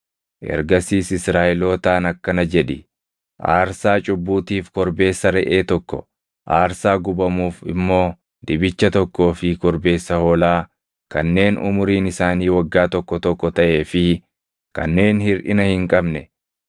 Ergasiis Israaʼelootaan akkana jedhi: ‘Aarsaa cubbuutiif korbeessa reʼee tokko, aarsaa gubamuuf immoo dibicha tokkoo fi korbeessa hoolaa kanneen umuriin isaanii waggaa tokko tokko taʼee fi kanneen hirʼina hin qabne,